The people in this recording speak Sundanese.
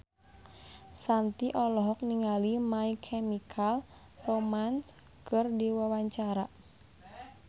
Shanti olohok ningali My Chemical Romance keur diwawancara